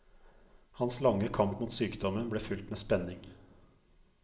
Hans lange kamp mot sykdommen ble fulgt med spenning.